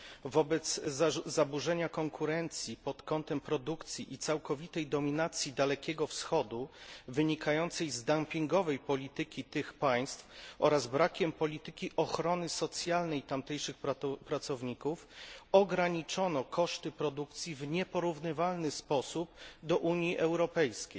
Wobec zaburzenia konkurencji pod kątem produkcji i całkowitej dominacji Dalekiego Wschodu, wynikającej z dumpingowej polityki tych państw oraz brakiem polityki ochrony socjalnej tamtejszych pracowników, ograniczono koszty produkcji w nieporównywalny sposób do Unii Europejskiej.